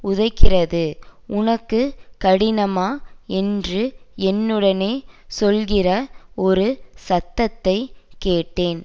உதைக்கிறது உனக்கு கடினமா என்று என்னுடனே சொல்லுகிற ஒரு சத்தத்தை கேட்டேன்